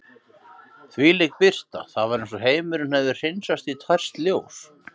Þvílík birta, það var eins og heimurinn hefði hreinsast í tært ljós.